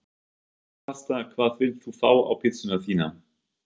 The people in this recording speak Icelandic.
Pasta Hvað vilt þú fá á pizzuna þína?